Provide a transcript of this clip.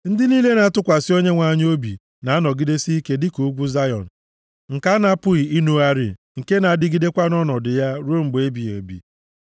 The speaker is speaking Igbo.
Ndị niile na-atụkwasị Onyenwe anyị obi na-anọgidesi ike dị ka ugwu Zayọn nke a na-apụghị inugharị, nke na-adịgidekwa nʼọnọdụ ya ruo mgbe ebighị ebi.